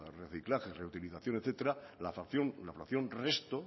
reciclaje utilización etcétera la fracción resto